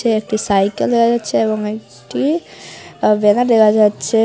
একটি সাইকেল দেখা যাচ্ছে এবং একটি বেড়া দেহা যাচ্ছে।